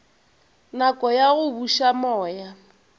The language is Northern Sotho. nako ya go buša moya